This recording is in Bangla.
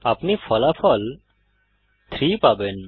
আপনি ফলাফল 3 পাবেন